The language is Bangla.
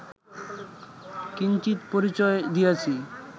কিঞ্চিৎ পরিচয় দিয়াছি